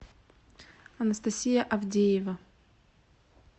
анастасия авдеева